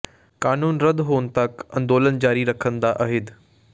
ਕਾਨੂੰਨ ਰੱਦ ਹੋਣ ਤਕ ਅੰਦੋਲਨ ਜਾਰੀ ਰੱਖਣ ਦਾ ਅਹਿਦ